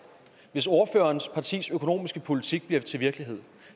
hvis ordførerens partis økonomiske politik bliver til virkelighed